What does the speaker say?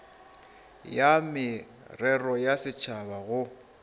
ya merero ya setšhaba go